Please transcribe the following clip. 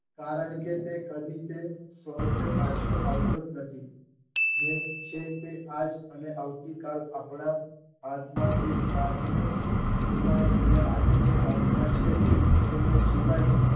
કારણકે તે કદી કે સ્વરૂપે પાછો આવતો જ નથી જે છે તે આજ અને આવતીકાલ આપણા હાથમાં ભૂત કાળને ભુલાય અને આજે જે હાથ માં છે તેને જીવાય